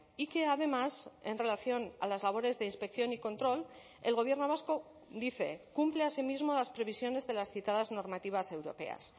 y que además en relación a las labores de inspección y control el gobierno vasco dice cumple asimismo las previsiones de las citadas normativas europeas